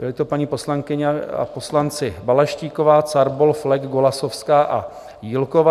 Jsou to paní poslankyně a poslanci: Balaštíková, Carbol, Flek, Golasowská a Jílková.